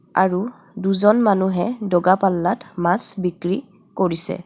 আৰু দুজন মানুহে দগাপল্লাত মাছ বিক্ৰী কৰিছে.